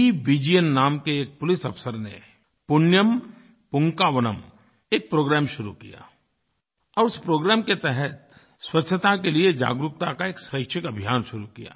पीविजयन नाम के एक पुलिस अफ़सर ने पुण्यम पुन्कवाणम पुण्यम पूंकवनम एक प्रोग्राम शुरू किया और उस प्रोग्राम के तहत स्वच्छता के लिए जागरूकता का एक स्वैच्छिकअभियान शुरू किया